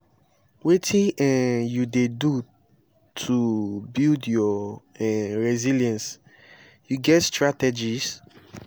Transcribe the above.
wetin um you dey do to build your um resilience you get strategies?